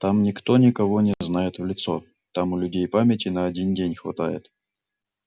там никто никого не знает в лицо там у людей памяти на один день хватает